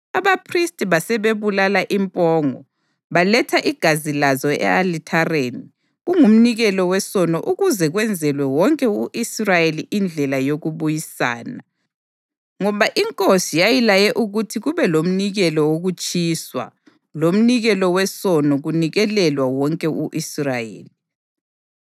Abaphristi basebebulala impongo baletha igazi lazo e-alithareni kungumnikelo wesono ukuze kwenzelwe wonke u-Israyeli indlela yokubuyisana, ngoba inkosi yayilaye ukuthi kube lomnikelo wokutshiswa lomnikelo wesono kunikelelwa wonke u-Israyeli.